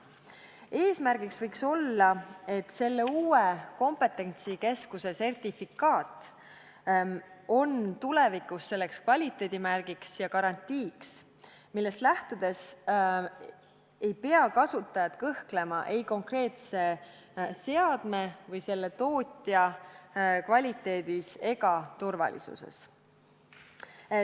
Eesmärgiks võiks olla, et selle uue kompetentsikeskuse sertifikaat oleks tulevikus kvaliteedimärgiks ja garantiiks, millest lähtudes ei peaks kasutajad kõhklema ei konkreetse seadme ega selle tootja kvaliteedis ja turvalisuses.